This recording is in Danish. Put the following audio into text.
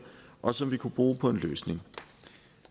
og som vi kunne bruge på en løsning